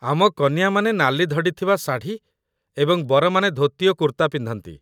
ଆମ କନିଆଁ ମାନେ ନାଲି ଧଡ଼ି ଥିବା ଶାଢ଼ୀ ଏବଂ ବରମାନେ ଧୋତି ଓ କୁର୍ତ୍ତା ପିନ୍ଧନ୍ତି